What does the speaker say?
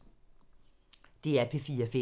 DR P4 Fælles